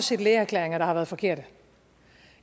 set lægeerklæringer der har været forkerte